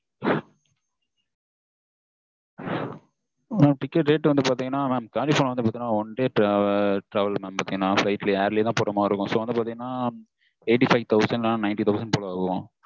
mam ticket rate வந்து பாத்தீங்கன்னா California வந்து one day travel தான் என full ஆ flight ல air ல தன் போற மாதிரி இருக்கும் so வந்து பார்த்தீங்கன்னா eighty-five thousand to ninty thousand வரும்.